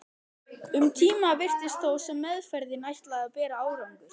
Um tíma virtist þó sem meðferðin ætlaði að bera árangur.